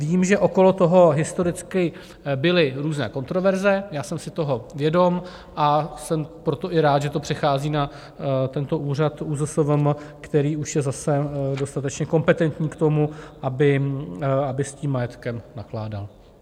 Vím, že okolo toho historicky byly různé kontroverze, já jsem si toho vědom, a jsem proto i rád, že to přechází na tento úřad, ÚZSVM, který už je zase dostatečně kompetentní k tomu, aby s tím majetkem nakládal.